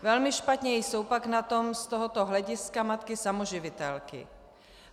Velmi špatně jsou pak na tom z tohoto hlediska matky samoživitelky.